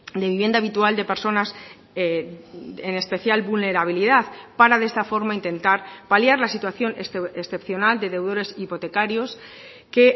de vivienda habitual de personas en especial vulnerabilidad para de esta forma intentar paliar la situación excepcional de deudores hipotecarios que